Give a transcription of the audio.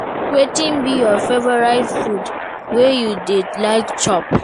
Wetin be your favourite food wey you dey like chop?